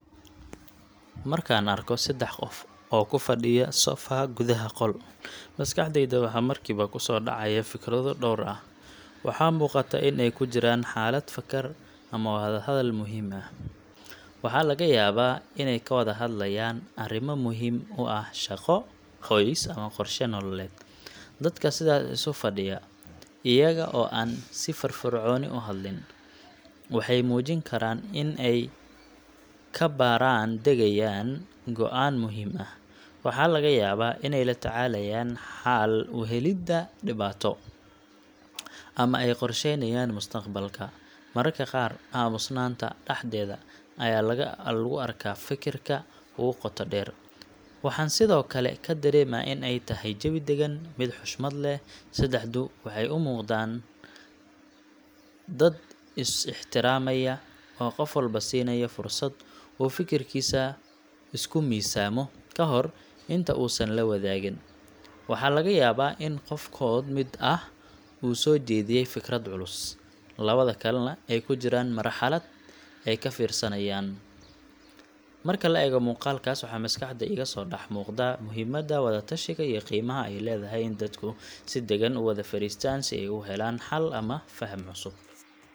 Markaan arko saddex qof oo ku fadhiya sofa gudaha qol, maskaxdayda waxa markiiba ku soo dhacaya fikrado dhowr ah. Waxaa muuqata in ay ku jiraan xaalad fakar ama wada hadal muhiim ah. Waxaa laga yaabaa inay ka wada hadlayaan arrin muhiim u ah shaqo, qoys, ama qorshe nololeed. Dadka sidaas isu fadhiya, iyaga oo aan si firfircoon u hadlin, waxay muujin karaan in ay ka baaraan-degayaan go’aan muhiim ah. Waxaa laga yaabaa inay la tacaalayaan xal u helidda dhibaato, ama ay qorsheynayaan mustaqbalka. Mararka qaar, aamusnaanta dhexdeeda ayaa lagu arkaa fekerka ugu qoto dheer. Waxaan sidoo kale ka dareemaa in ay tahay jawi dagan, mid xushmad leh. Saddexdu waxay u muuqan karaan dad is ixtiraamaya, oo qof walba siinaya fursad uu fikirkiisa isku miisaamo ka hor inta uusan la wadaagin. Waxaa laga yaabaa in qofkood mid ah uu soo jeediyay fikrad culus, labada kalena ay ku jiraan marxalad ay ka fiirsanayaan. Marka la eego muuqaalkaas, waxaa maskaxda iga soo dhex muuqda muhiimadda wada tashiga iyo qiimaha ay leedahay in dadku si deggan u wada fariistaan si ay u helaan xal ama faham cusub.